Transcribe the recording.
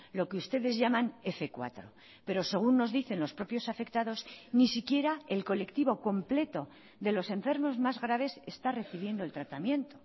lo que ustedes llaman f cuatro pero según nos dicen los propios afectados ni siquiera el colectivo completo de los enfermos más graves está recibiendo el tratamiento